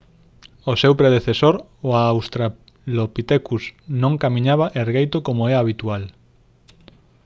o seu predecesor o australopitecus non camiñaba ergueito como é habitual